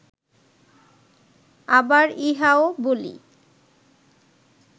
আবার ইহাও বলি